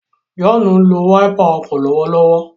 John nlò Wáípà ọkọ lọwọlọwọ.